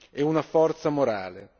e una forza morale.